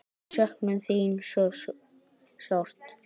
Við söknum þín svo sárt.